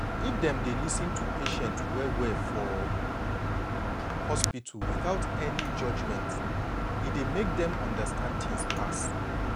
if dem dey lis ten to patient well well for hospital without any judgment e dey make dem understand tins pass.